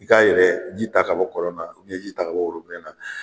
I ka yɛrɛ ji ta ka bɔ kɔlɔn na ji ta ka bɔ na